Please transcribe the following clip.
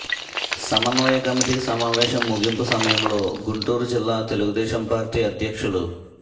సమన్వయ కమిటీ సమావేశం ముగింపు సమయంలో గుంటూరు జిల్లా తెలుగుదేశంపార్టీ అధ్యక్షులు